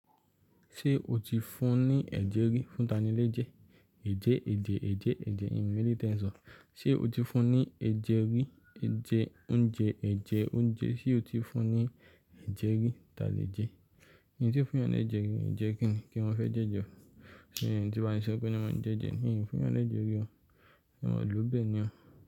Ṣé o ti fún un ní ẹ̀jẹ rí? Fún tani lẹ́ jẹ? Ẹ̀jẹ, ẹ̀jẹ̀, ẹ̀jẹ́, ẹ̀jẹ̀, hìn mọ eléyìí tẹ ń sọ. Ṣé o ti fún un ní ẹ̀jẹ rí? Ẹ̀jẹ, óúnjẹ, ẹ̀jẹ, óúnjẹ. Ṣé o ti fún un ní ẹ̀jẹ rí? Tani lẹ jẹ? Hìn tí fún yan ní ẹ̀jẹ rí, ẹ̀jẹ kín ni? Kí wọn fẹ́ jẹ́jẹ o. Ṣé ìyẹn tí ba mi sọ pé ni wọ́n máa ń jẹ́jẹ ni? Ìyẹn fún ọ ní ẹ̀jẹ rí o. Kàn wọn ò lú bẹ̀ ni o?